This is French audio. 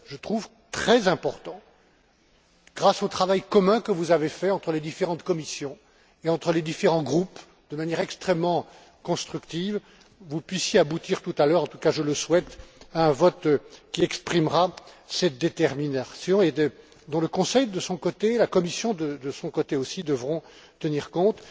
Je trouve très important que, grâce au travail commun que vous avez fait entre les différentes commissions et entre les différents groupes, de manière extrêmement constructive, vous puissiez aboutir tout à l'heure en tout cas, je le souhaite à un vote qui exprimera cette détermination et dont le Conseil, de son côté, la Commission, de son côté aussi, devront tenir compte.